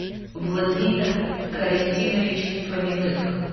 владимир карасинович фоминых